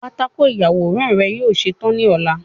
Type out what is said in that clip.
patako iyaworan rẹ yoo ṣetan ni ọla